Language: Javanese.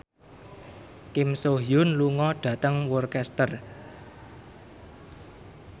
Kim So Hyun lunga dhateng Worcester